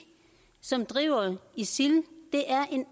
som driver isil